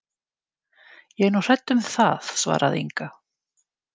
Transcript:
Ég er nú hrædd um það, svaraði Inga.